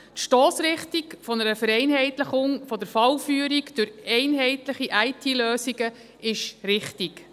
Die Stossrichtung einer Vereinheitlichung der Fallführung durch einheitliche IT-Lösungen ist richtig.